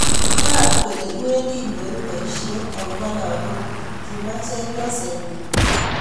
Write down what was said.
"Ibwat kole iwendi inyoru boisiet akobo lakok kuk," kimwa chepyoset nyin.